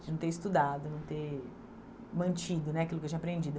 De não ter estudado, de não ter mantido né aquilo que eu tinha aprendido.